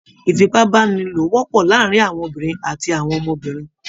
Ìfipábánilò wọ́pọ̀ láàrin àwọn obìnrin àti àwọn ọmọbìnrin.